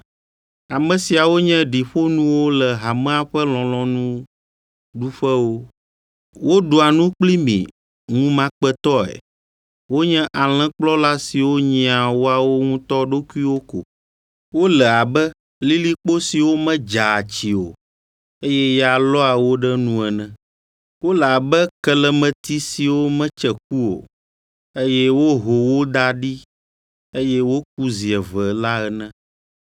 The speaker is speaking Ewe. Ame siawo nye ɖiƒonuwo le hamea ƒe lɔlɔ̃nuɖuƒewo. Woɖua nu kpli mi ŋumakpetɔe, wonye alẽkplɔla siwo nyia woawo ŋutɔ ɖokuiwo ko. Wole abe lilikpo siwo medzaa tsi o, eye ya lɔa wo ɖe enu ene. Wole abe kelemeti siwo metse ku o, eye woho wo da ɖi eye woku zi eve la ene.